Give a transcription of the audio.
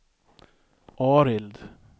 Arild